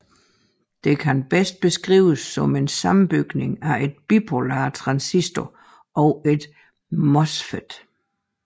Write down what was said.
Den kan bedst beskrives som en sammenbygning af en bipolar transistor og en MOSFET